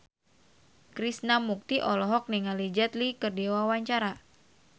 Krishna Mukti olohok ningali Jet Li keur diwawancara